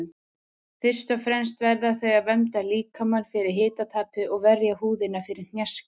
Fyrst og fremst verða þau að vernda líkamann fyrir hitatapi og verja húðina fyrir hnjaski.